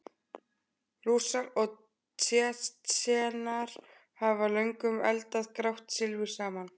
Rússar og Tsjetsjenar hafa löngum eldað grátt silfur saman.